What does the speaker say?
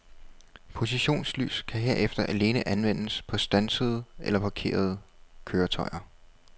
Positionslys kan herefter alene anvendes på standsede eller parkerede køretøjer.